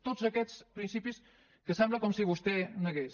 tots aquests principis que sembla com si vostè negués